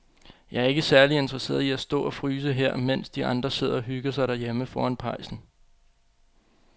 Jeg er ikke særlig interesseret i at stå og fryse her, mens de andre sidder og hygger sig derhjemme foran pejsen.